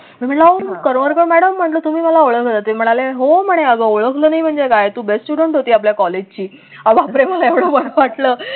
मी म्हटलं अहो करमरकर मॅडम तुम्ही मला ओळखलं तर ते म्हणाले हो अग म्हणे ओळखलं नाही म्हणजे काय तू best student होती आपल्या कॉलेजची बापरे मला एवढ बर वाटलं.